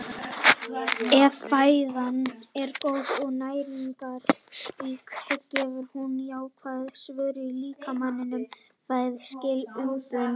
Ef fæðan er góð og næringarrík gefur hún jákvæða svörun í líkamanum- fæðan skilar umbun.